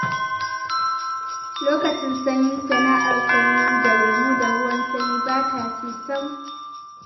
Lokacin sanyi sana'ar sayar da lemo da ruwan sanyi ba ta ci sam